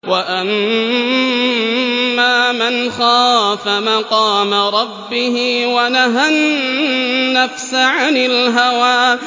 وَأَمَّا مَنْ خَافَ مَقَامَ رَبِّهِ وَنَهَى النَّفْسَ عَنِ الْهَوَىٰ